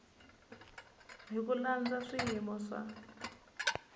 hi ku landza swiyimo swa